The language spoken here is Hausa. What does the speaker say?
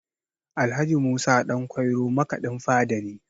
Alh. Musa Ɗanƙwairo makaɗin fada ne